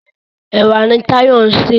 Ẹ̀wà ni Táyọ̀ ń sè.